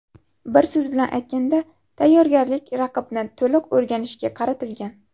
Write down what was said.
Bir so‘z bilan aytganda, tayyorgarlik raqibni to‘liq o‘rganishga qaratilgan.